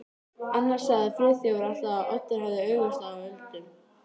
Á þessu tímabili var lögfest aðflutningsbann á áfengi.